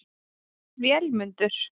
Vémundur